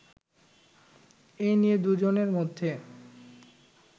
এ নিয়ে দুই জনের মধ্যে